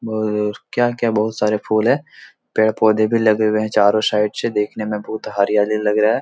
क्या-क्या बहुत सारे फूल है पेड़-पौधे भी लगे हुए हैं चारों साइड से देखने में बहुत ही हरियाली लग रहा है ।